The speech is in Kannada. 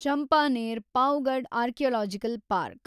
Champaner Pavagadh archaeological park